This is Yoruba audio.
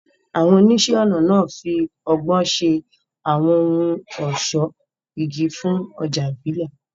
Àwọn oníṣẹ́-ọnà náà fi ọgbọ́n ṣe àwọn ohun ọ̀ṣọ́ igi fún ọjà ìbílẹ̀.